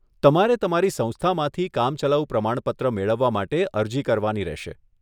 તમારે તમારી સંસ્થામાંથી કામચલાઉ પ્રમાણપત્ર મેળવવા માટે અરજી કરવાની રહેશે.